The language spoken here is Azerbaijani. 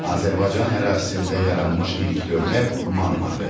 Azərbaycan ərazisində yaranmış ilk dövlət Mannadır.